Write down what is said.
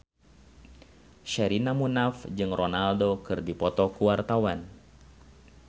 Sherina Munaf jeung Ronaldo keur dipoto ku wartawan